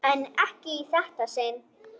En ekki í þetta sinn.